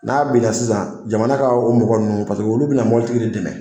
N'a binna sisan, jamana ka o mɔgɔ nunnu paseke olu bɛna mɔbilitigi de dɛmɛ.